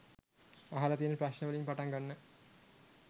අහල තියෙන ප්‍රශ්න වලින් පටන් ගන්න.